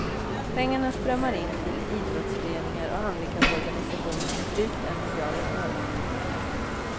Pengarna strömmar in till idrottsföreningar och handikapporganisationer, drygt en miljard om året.